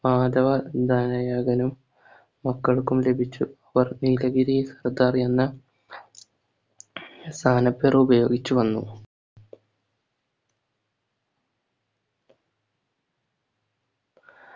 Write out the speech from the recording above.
മാധവ ധനയകലും മക്കൾക്കും ലഭിച്ചു അവർ നീലഗിരി സ്ഥലത്ത് അറിയുന്ന സ്ഥാനപ്പേര് ഉപയോഗിച്ച് വന്നു